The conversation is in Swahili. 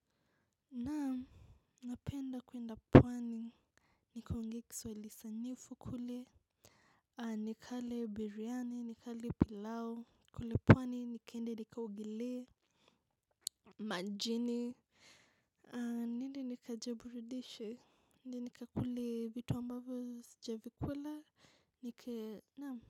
Naam, napenda kuenda pwani nikaongee kiswaili sanyifu kule. Ni kale biryani ni kale pilau kule pwani ni kende ni kaogelee. Majini. Niende nikajiburudishe ni ni kakule vitu ambavyo sijavikula ni ke nam.